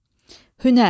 Hünər.